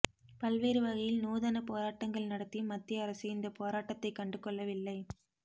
பல்வேறு வகையில் நூதன போராட்டங்கள் நடத்தியும் மத்திய அரசு இந்த போராட்டத்தை கண்டுகொள்ளவில்லை